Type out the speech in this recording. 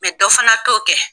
dɔ fana t'o kɛ.